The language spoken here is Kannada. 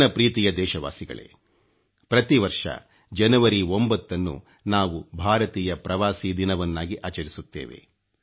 ನನ್ನ ಪ್ರೀತಿಯ ದೇಶವಾಸಿಗಳೇ ಪ್ರತಿವರ್ಷ ಜನವರಿ 9 ನ್ನು ನಾವು ಭಾರತೀಯ ಪ್ರವಾಸಿ ದಿನವನ್ನಾಗಿ ಆಚರಿಸುತ್ತೇವೆ